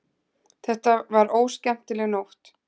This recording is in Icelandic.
Þetta var óskemmtileg nótt.